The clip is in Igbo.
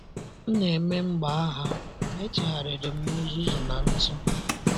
“ M na-eme mgbagha, ma echegharịrị m na uzuzu na ntụ. ”